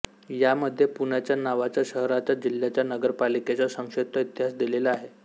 यामध्ये पुण्याच्या नावाचा शहराचा जिल्ह्याचा नगरपालिकेचा संक्षिप्त इतिहास दिलेला आहे